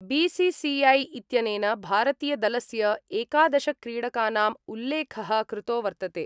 BCCI इत्यनेन भारतीयदलस्य एकादशक्रीडकानां उल्लेख: कृतो वर्तते।